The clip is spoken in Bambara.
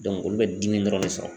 olu bɛ dimi dɔrɔn de sɔrɔ .